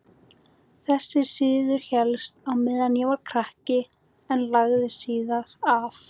Þessi siður hélst á meðan ég var krakki en lagðist síðar af.